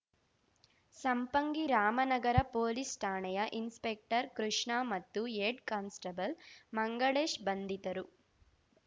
Sampangi Ramanagara police ಠಾಣೆಯ inspector Krishna ಮತ್ತು head constable Mangalesh ಬಂಧಿತರು